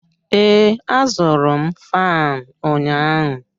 Ee, azụrụ m fan ụnyahụ.